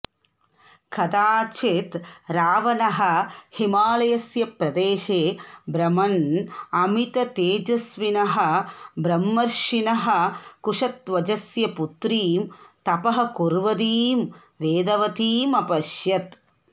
कदाचित् रावणः हिमालयस्य प्रदेशे भ्रमन् अमिततेजस्विनः ब्रह्मर्षिणः कुशध्वजस्य पुत्रीं तपः कुर्वतीं वेदवतीम् अपश्यत्